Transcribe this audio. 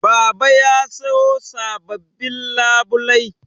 Baba ya sayo sababbin labulai